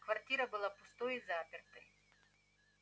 квартира была пустой и запертой